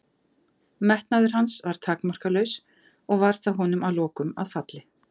Metnaður hans var takmarkalaus og varð það honum að lokum að falli.